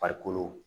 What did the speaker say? Farikolo